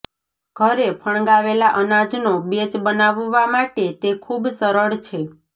ઘરે ફણગાવેલાં અનાજનો બેચ બનાવવા માટે તે ખૂબ સરળ છે